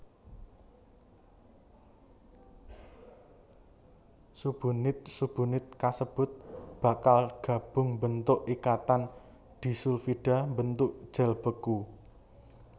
Subunit subunit kasebut bakal gabung mbentuk ikatan disulfida mbentuk gel beku